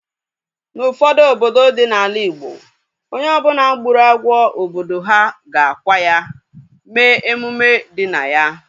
N'ufodu obodo dị n'ala igbo, onye ọbụla gburu agwọ obodo ha ga-akwa ya, mee emume dị na ya